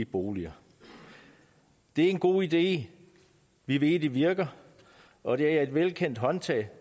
boliger det er en god idé vi ved det virker og det er et velkendt håndtag